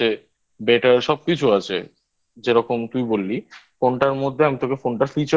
Better সবকিছু আছে যেরকম তুই বললি ফোনটার মধ্যে আমি তোকে Phone টা Features গুলো